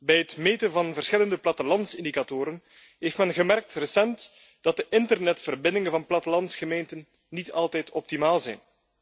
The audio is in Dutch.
Bij het meten van verschillende plattelandsindicatoren heeft men recent gemerkt dat de internetverbindingen van plattelandsgemeenten niet altijd optimaal zijn.